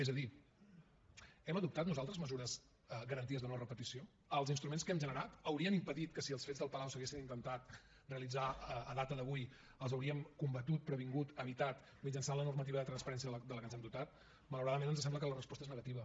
és a dir hem adoptat nosaltres mesures garanties de no repetició els instruments que hem generat haurien impedit que si els fets del palau s’haguessin intentat realitzar a data d’avui els hauríem combatut previngut evitat mitjançant la normativa de transparència de la que ens hem dotat malauradament ens sembla que la resposta és negativa